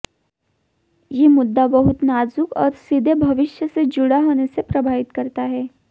ये मुद्दा बहुत नाजुक और सीधे भविष्य से जुड़ा होने से प्रभावित करता है